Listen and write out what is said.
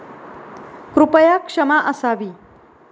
कृपया क्षमा असावी.